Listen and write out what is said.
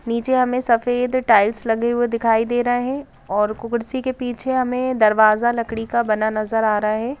नीचे हमें सफेद टाइल्स लगे हुए दिखाई दे रहा है और कुकड़सी के पीछे हमें दरवाजा लकड़ी का बना नजर आ रहा है ।